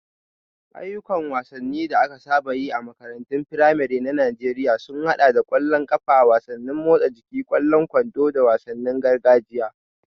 Ayyukan wasanni da aka saba yi a makarantun firamare na Najeriya sun haɗa da ƙwallon ƙafa, wasannin motsa jiki, ƙwallon kwando, da wasannin gargajiya.